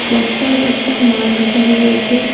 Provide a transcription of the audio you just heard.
বস্তায় বস্তায় মাল ঢুকানো রয়েছে।